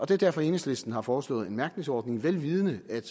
det er derfor enhedslisten har foreslået en mærkningsordning vel vidende at